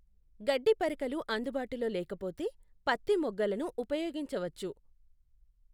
గడ్డి పరకలు అందుబాటులో లేకపోతే, పత్తి మొగ్గలను ఉపయోగించవచ్చు.